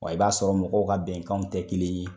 Wa i b'a sɔrɔ mɔgɔw ka bɛnkanw tɛ kelen ye.